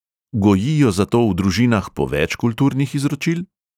Gojijo zato v družinah po več kulturnih izročil?